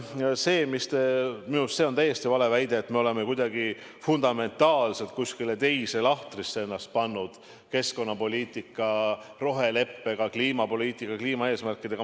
See on minu arust täiesti vale väide, et me oleme kuidagi fundamentaalselt kuskile teise lahtrisse ennast pannud keskkonnapoliitika, roheleppe ja kliimapoliitika eesmärkidega.